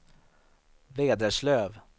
Vederslöv